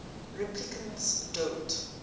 replicants don't